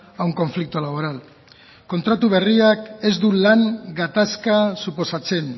a un conflicto laboral kontratu berriak ez du lan gatazka suposatzen